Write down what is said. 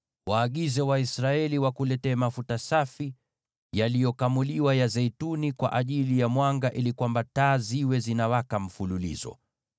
“Waagize Waisraeli wakuletee mafuta safi ya zeituni yaliyokamuliwa kwa ajili ya mwanga ili taa ziwe zinawaka daima.